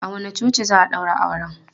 A wanne coci za a ɗaura auren?